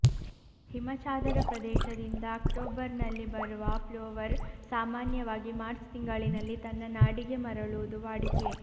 ಹಿಮಚಾದರ ಪ್ರದೇಶದಿಂದ ಅಕ್ಟೋಬರ್ನಲ್ಲಿ ಬರುವ ಪ್ಲೊವರ್ ಸಾಮಾನ್ಯವಾಗಿ ಮಾರ್ಚ್ ತಿಂಗಳಿನಲ್ಲಿ ತನ್ನ ನಾಡಿಗೆ ಮರಳುವುದು ವಾಡಿಕೆ